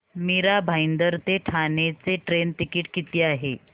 मीरा भाईंदर ते ठाणे चे train ticket किती आहे